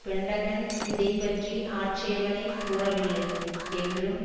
Pentagon இதை பற்றி ஆட்சேபனை கூறவில்லை என்றும்